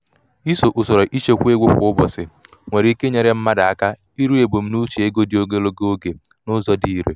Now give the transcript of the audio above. ịso usoro ịchekwa um ego kwa ụbọchị nwere ụbọchị nwere ike inyere mmadụ aka iru ebumnuche ego dị ogologo oge n'ụzọ um dị irè.